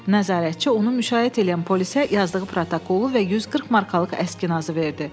Nəzarətçi onu müşayiət eləyən polisə yazdığı protokolu və 140 markalıq əskinazı verdi.